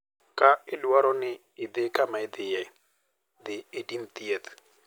Ka dwarore ni idhi kama idhiye, dhi itim thieth.